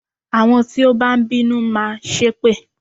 Àwọn tí ó bá ń bínú máa ṣépè